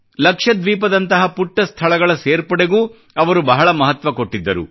ಲಕ್ಷದ್ವೀಪದಂತಹ ಪುಟ್ಟ ಸ್ಥಳಗಳ ಸೇರ್ಪಡೆಗೂ ಅವರು ಬಹಳ ಮಹತ್ವ ಕೊಟ್ಟಿದ್ದರು